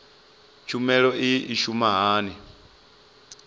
tshumelo iyi i shuma hani